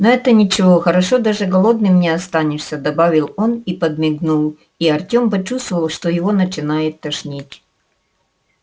но это ничего хорошо даже голодным не останешься добавил он и подмигнул и артём почувствовал что его начинает тошнить